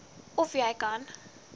of jy kan